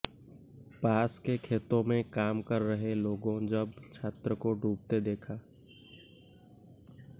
पास के खेतों में काम कर रहे लोगों जब छात्र को डूबते देखा